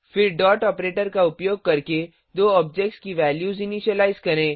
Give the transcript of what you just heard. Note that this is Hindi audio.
फिर डॉट ऑपरेटर का उपयोग करके दो ऑब्जेक्ट्स की वैल्यूज इनीशिलाइज करें